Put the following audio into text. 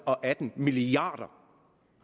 og atten milliard